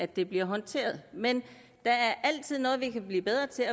det bliver håndteret men der er altid noget vi kan blive bedre til